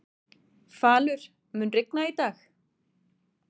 Falur, mun rigna í dag?